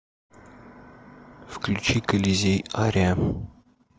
включи колизей ария